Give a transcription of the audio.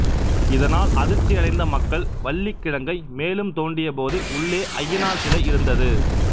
இதனால் அதிர்ச்சியடைந்த மக்கள் வள்ளிக்கிழங்கை மேலும் தோண்டியபோது உள்ளே ஐயனார் சிலை இருந்தது